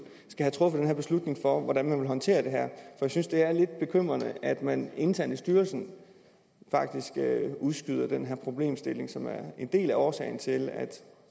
skal have truffet den her beslutning for hvordan man vil håndtere det her jeg synes det er lidt bekymrende at man internt i styrelsen faktisk udskyder den her problemstilling som er en del af årsagen til at